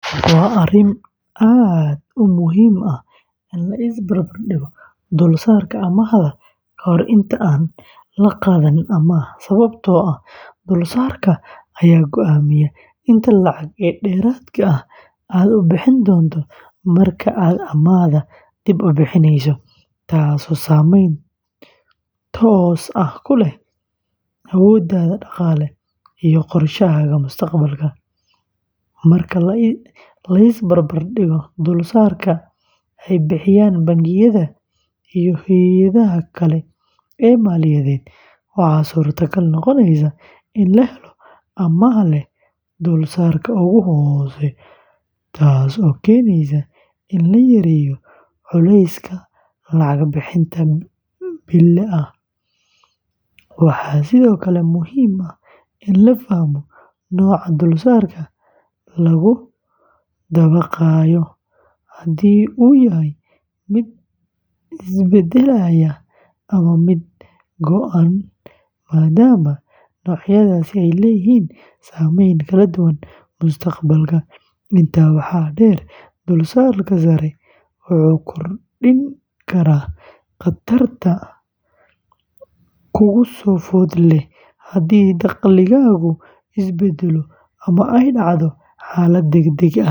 Waa arrin aad u muhiim ah in la is barbar dhigo dulsaarka amaahda ka hor inta aan la qaadanin amaah sababtoo ah dulsaarka ayaa go’aamiya inta lacag ee dheeraad ah aad ku bixin doonto marka aad amaahda dib u bixineyso, taasoo saameyn toos ah ku leh awooddaada dhaqaale iyo qorshahaaga mustaqbalka. Marka la is barbar dhigo dulsaarka ay bixiyaan bangiyada iyo hay’adaha kale ee maaliyadeed, waxaa suurtagal noqonaysa in la helo amaah leh dulsaarka ugu hooseeya, taasoo keeneysa in la yareeyo culayska lacag bixinta bille ah. Waxaa sidoo kale muhiim ah in la fahmo nooca dulsaarka lagu dabaqayohaddii uu yahay mid isbeddelaya ama mid go’an maadaama noocyadaasi ay leeyihiin saameyn kala duwan mustaqbalka. Intaa waxaa dheer, dulsaarka sare wuxuu kordhin karaa khatarta kugu soo food leh haddii dakhligaagu isbeddelo ama ay dhacdo xaalad degdeg ah.